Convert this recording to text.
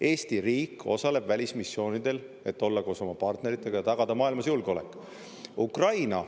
Eesti riik osaleb välismissioonidel, et olla koos oma partneritega ja tagada maailmas julgeolek.